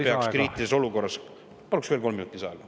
Paluksin veel kolm minutit lisaaega.